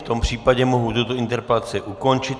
V tom případě mohu tuto interpelaci ukončit.